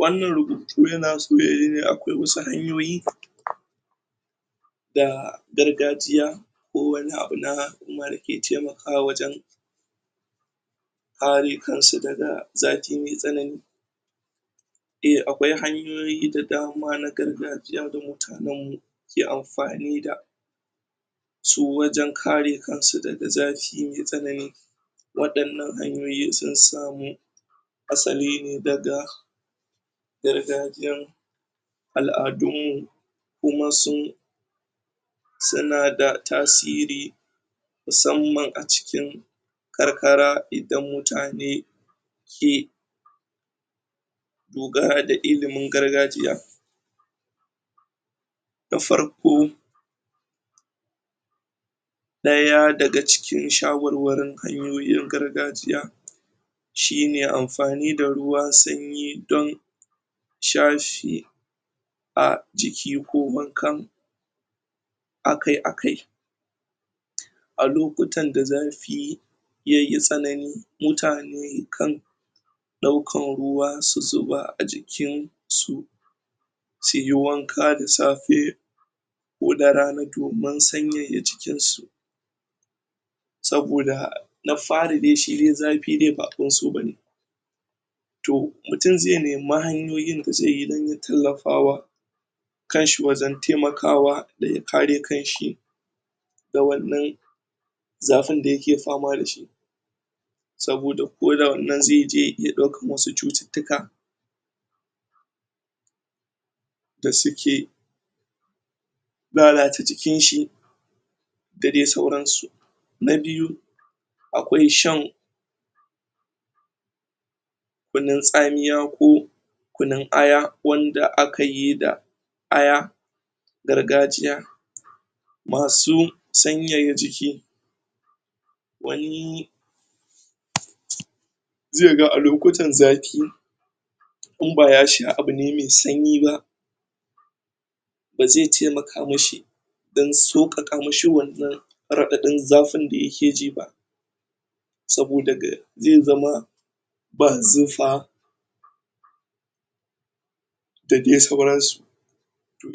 Wannan rubutu yana so ne yayi ne akwai wasu hanyoyi da gargajiya ko wani abu na da yake taimakawa wajen kare kan su daga zafi mai tsanani, eh akwai hanyoyi da dama na gargajiya da mutanen mu ke amfani da su daga kare kansu daga zafi mai tsanani ,wadannan hanyoyi sun sami asali ne daga gargajiyar aladun mu kuma su na da tasiri musamman a cikin karkara da mutane ke dogara da ilimin gargajiya na farko daya daga cikin shawarwarin gargajiya shine amfani da ruwan sanyi don shashe jiki ko wanka akai akai a lokutan da zafi yayi tsanani mutane kan dauka ruwa su zuba a jiki don suyi wanka da safe domin sanyaya jikinsu saboda na fari dai shi dai zafi ba abin so bane mutum zai nemi hanyoyin da zai bi dan ya tallafawa kan shi wajen taimakawa daga kare kan shi da wannan zafin da yake fama dashi, saboda ko da wannan zai je ya dauko musu cututtuka da suke da suke lalata jikin shi da dai sauran su, na biyu akwai shan kunun tsamiya ko kunun aya wanda akayi da aya na gargajiya masu sanyaya jiki wani zai ga a lokutan zafi in ba ya sha ne abu mai sanyi ba Ba zai taimaka mishi dan saukaka mishi wannan radadin zafin da yake ji ba saboda zai zama ga zufa da dai sauran su,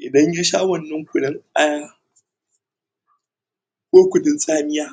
idan yasha wannan kunun ayar ko kunun tsamiya